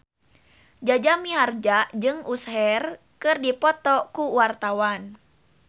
Jaja Mihardja jeung Usher keur dipoto ku wartawan